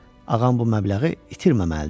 Ağam bu məbləği itirməməlidir.